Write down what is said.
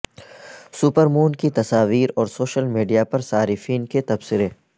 super مون کی تصاویر اور سوشل میڈیا پرصارفین کے تبصرے